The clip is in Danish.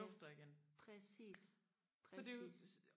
ja præcis præcis